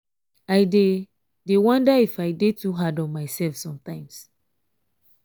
i dey dey wonder if i dey too hard on myself sometimes